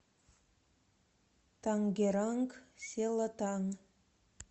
тангеранг селатан